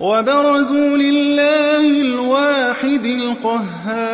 وَبَرَزُوا لِلَّهِ الْوَاحِدِ الْقَهَّارِ